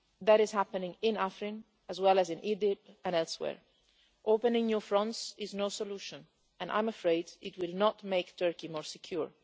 That is happening in Afrin as well as in Idlib and elsewhere. Opening new fronts is no solution and I am afraid it will not make Turkey more secure.